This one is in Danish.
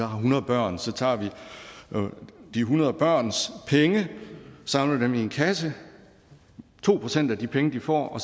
har hundrede børn så tager vi de hundrede børns penge og samler dem i en kasse to procent af de penge de får